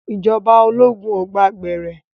Ìjọba ológun ò gba gbẹ̀rẹ́.